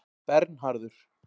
Bernharður